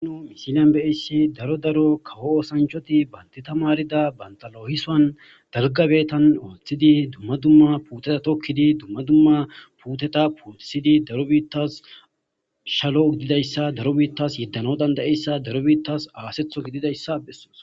nu misilyan beyeyssi daro daro kawo osanchoti bantita maarida bandalohisoan dargabetan ooththidi dumma dumma puuteta tokkidi dumma dumma puuteta pootisidi daro biittas shalo gididayssa daro biittas yeddano dandayeyssa daro biittas aasetho gididayssa bessoos